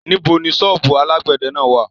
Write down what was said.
Níbo ni ṣọ́ọ́bù alágbẹ̀dẹ náà wà?